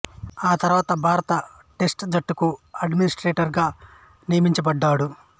ఆ తర్వాత భారత టెస్ట్ జట్టుకు అడ్మినిస్ట్రేటర్ గా నియమించబడ్డాడు